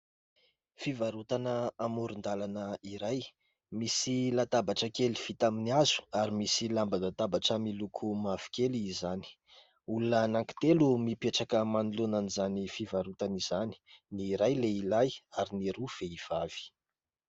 Fivarotana amoron-dalana iray misy latabatra kely vita amin'ny hazo ary misy lamba latabatra miloko mavokely izany. Olona anankitelo mipetraka manoloana izany fivarotana izany ny iray lehilahy ary ny roa vehivavy.